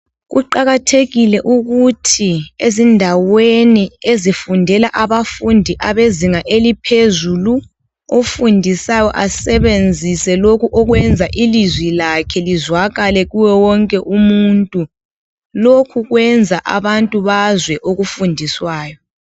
Kuqakathekile ukuthi ezindaweni ezifundela abafundi abezinga eliphezulu ofundisayo asebenzise lokhu okwenza ilizwi lakhe lizwakale kuwonke umuntu lokho kwenza ilizwi lakhe lizwakale kuye wonke umuntu ,lokhu kwenza abantu bazwe okufundiswayo